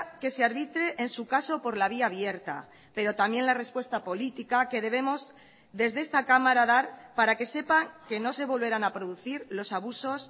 que se arbitre en su caso por la vía abierta pero también la respuesta política que debemos desde esta cámara dar para que sepan que no se volverán a producir los abusos